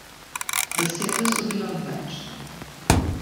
Besede so bile odveč.